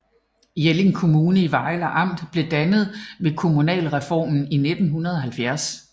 Jelling Kommune i Vejle Amt blev dannet ved kommunalreformen i 1970